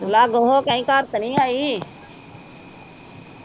ਲੱਗ ਹੋ ਕੇ ਆਈ, ਘਰ ਤਾ ਨੀ ਆਈ